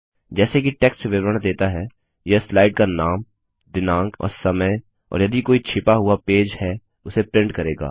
जैसे कि टेक्स्ट विवरण देता है यह स्लाइड का नाम दिनांक और समय और यदि कोई छिपा हुआ पेज है उसे प्रिंट करेगा